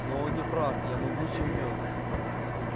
но он не прав я могуч и умён